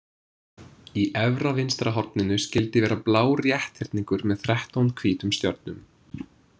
Í efra vinstra horninu skyldi vera blár rétthyrningur með þrettán hvítum stjörnum.